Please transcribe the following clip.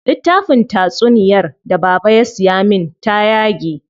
Littafin tatsunyar da baba ya siya min ta yage.